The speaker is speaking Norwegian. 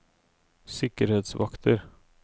sikkerhetsvakter